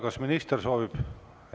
Kas minister soovib sõna?